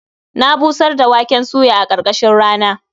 Na busar da waken suya a ƙarkashin rana.